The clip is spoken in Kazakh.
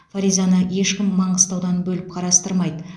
фаризаны ешкім маңғыстаудан бөліп қарастырмайды